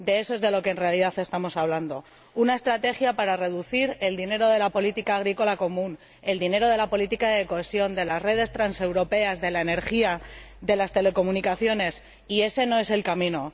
De eso es de lo que en realidad estamos hablando una estrategia para reducir el dinero de la política agrícola común, el dinero de la política de cohesión, el de las redes transeuropeas, de la energía, de las telecomunicaciones Y ese no es el camino.